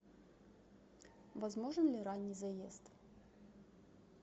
возможен ли ранний заезд